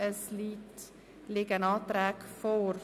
Es liegen Anträge vor.